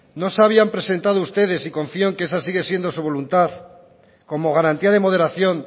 no se habían presentado ustedes y confío en que esa sigue siendo su voluntad como garantía de moderación